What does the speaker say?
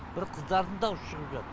бір қыздардың даусы шығып жатты